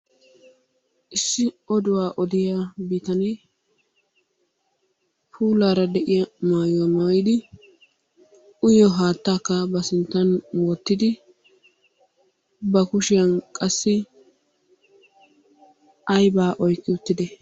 Issi oduwa odiyaa bitanee puulara de'iyaa maayuwa maayyidi, uyyiyo haatakka ba sinttan wottidi, ba kushiyaan qassi aybba oyqqi uttide?